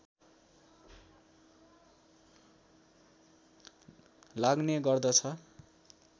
लाग्ने गर्दछ